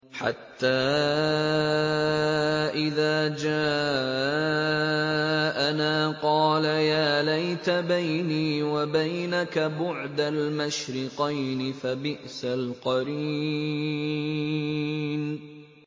حَتَّىٰ إِذَا جَاءَنَا قَالَ يَا لَيْتَ بَيْنِي وَبَيْنَكَ بُعْدَ الْمَشْرِقَيْنِ فَبِئْسَ الْقَرِينُ